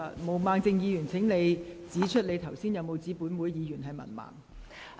毛孟靜議員，你剛才有否指本會議員是文盲？